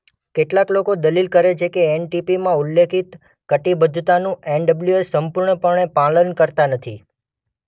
કેટલાંક લોકો દલીલ કરે છે કે એનપીટીમાં ઉલ્લેખિત કટિબદ્ધતાનું એનડબલ્યુએસ સંપૂર્ણપણે પાલન કરતાં નથી.